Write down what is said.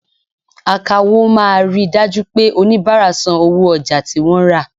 Àkáwọ máa ríi dájú pé oníbárà san owó ojà tí wọ́n rà.